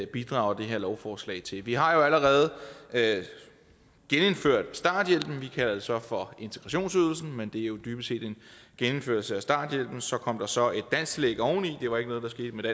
bidrager det her lovforslag til vi har jo allerede genindført starthjælpen vi kalder det så for integrationsydelsen men det er jo dybest set en genindførelse af starthjælpen og så kom der så et dansktillæg oveni det var ikke noget der skete med